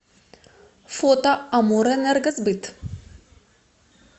фото амурэнергосбыт